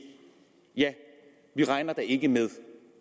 ja vi regner da ikke med